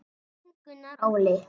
Þinn Gunnar Óli.